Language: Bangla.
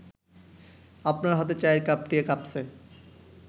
আপনার হাতে চায়ের কাপটি কাঁপছে